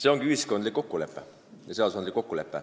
See ongi ühiskondlik kokkulepe, mis fikseeritakse seaduses.